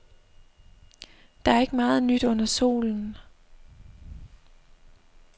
Der er ikke meget nyt under solen.